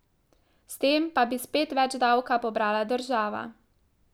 S tem pa bi spet več davka pobrala država.